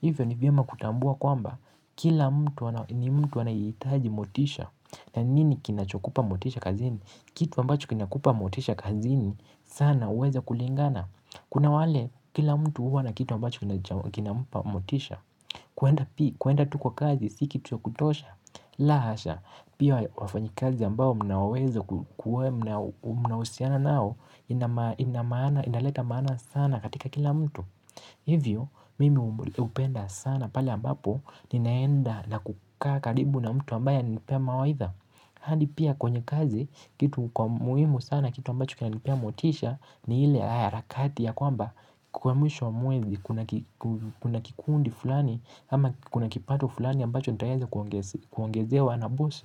Hivyo nivyema kutambua kwamba kila mtu ni mtu anahitaji motisha na nini kinachokupa motisha kazini? Kitu ambacho kinakupa motisha kazini. Sana uweza kulingana, kuna wale kila mtu huwa na kitu ambacho kinampa motisha. Kuenda pi, kuenda tu kwa kazi, sikitu cha kutosha, la hasha, pia wafanyakazi ambao mnaweza kuwa mnahusiana nao, inaleta maana sana katika kila mtu. Hivyo, mimi upenda sana pale ambapo, ninaenda na kukaa karibu na mtu ambaye ananipea mawaidha. Hadi pia kwenye kazi kitu kwa muhimu sana kitu ambacho kinanipea motisha ni ile harakati ya kwamba kwa mwisho wa mwezi kuna kikundi fulani ama kuna kipato fulani ambacho nitaweza kuongezewa na bosi,